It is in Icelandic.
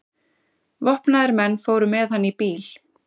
Vopnaðir menn fóru með hann í bíl.